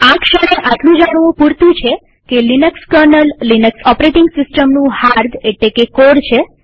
આ ક્ષણે આટલું જાણવું પુરતું છે કે લિનક્સ કર્નલ લિનક્સ ઓપરેટીંગ સિસ્ટમનું હાર્દ છે